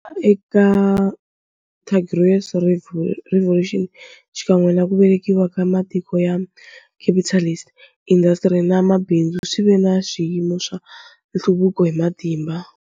Eka ti bourgeois revolutions xikan'we naku velekiwa ka matiko ya capitalist, indasitiri na mabindzu swive na swiyimo swo nhluvuko hi matimba.